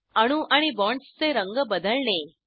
अणू आणि बॉण्ड्सचे रंग बदलणे